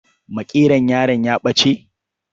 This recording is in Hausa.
Makeron yaron ya ɓace.